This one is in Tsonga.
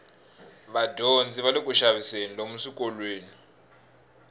vadyondzi vale kuxaviseni lomu swikolweni